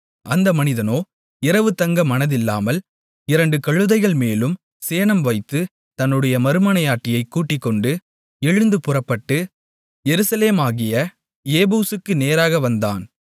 அந்த மனிதனோ இரவு தங்க மனதில்லாமல் இரண்டு கழுதைகள்மேலும் சேணம்வைத்து தன்னுடைய மறுமனையாட்டியைக் கூட்டிக்கொண்டு எழுந்து புறப்பட்டு எருசலேமாகிய எபூசுக்கு நேராக வந்தான்